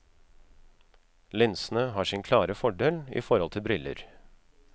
Linsene har sin klare fordel i forhold til briller.